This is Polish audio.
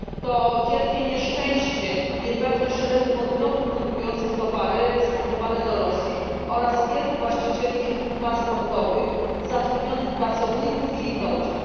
To wielkie nieszczęście i niepewność szeregu podmiotów produkujących towary eksportowane do Rosji oraz wielu właścicieli firm transportowych, zatrudnionych pracowników i ich rodzin.